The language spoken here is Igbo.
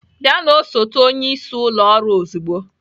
Bịa na osote onyeisi ụlọ ọrụ ozugbo